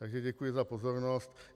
Takže děkuji za pozornost.